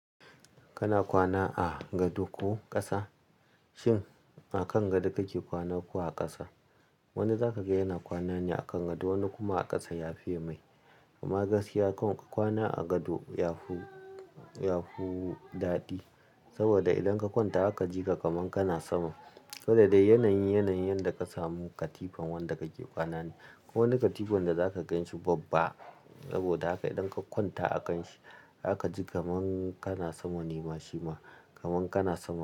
Kana kwana a gado ko ƙasa? Shin a kan gado kake kwana ko a ƙasa? Wani zaka ga yana kwana ne a kan gado wani kuma a ƙasa yafiye mai. Amma gaskiya kan kwana a gado yafu, yafu daɗi. Saboda idan ka kwanta aka ji ka kaman kana sama. Saboda da yanayin, yanayin da ka samu katifan wanda kake kwana ne. Wani katifan da zaka gan shi babba, saboda haka idan ka kwanta a kan shi aka ji kaman kana sama ne ma shima kaman kana sama.